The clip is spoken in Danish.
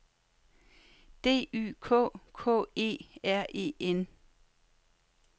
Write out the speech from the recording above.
D Y K K E R E N